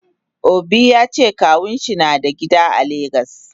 Obi yace kawunshi nada gida a lagos.